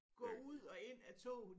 Gå ud og ind af toget